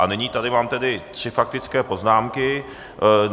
A nyní tady mám tedy tři faktické poznámky.